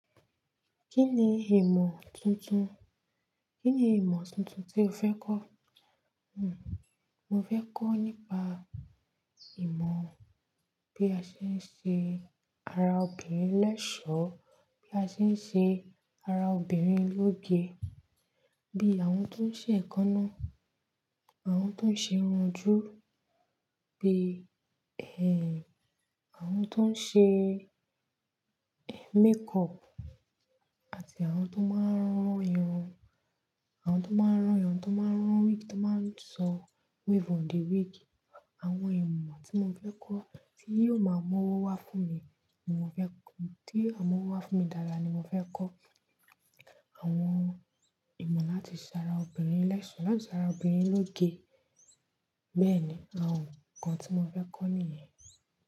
Kíni ìmọ̀ tuntun, kíni ìmọ̀ tuntun tí o fẹ́ kọ́? Hmmm, mo fẹ́ kọ́ nípa ìmọ̀ bí a ṣe ń ṣe ara obìnrin l'ẹ́sọ̀ọ́, bí a ṣe ń ṣe ara obìnrin lógé, bí àwọn tó ń ṣe èékánná, àwọn tó ń ṣe irun ojú, bí ẹh, àwọn tó ń ṣe makeup àti àwọn tó máa ń rán irun, àwọn tó máa ń rán irun, tó máa ń rán wig, tó máa ń sọ wave on the wig. Àwọn ìmọ̀ tí mo fẹ́ kọ́ tí yóò máa mú owó wá fún mi, ni mo fẹ́ kọ́, tí ó wá m'ówó wá fún mi dáadáa ni mo fẹ́ kọ́. Àwọn ìmọ̀ láti ṣe ara obìnrin l'ẹ́sọ̀ọ́, láti ṣe ara obìnrin lógé. Bẹ́ẹ̀ni, àwọn nǹkan tí mo fẹ́ kọ́ nìyẹn.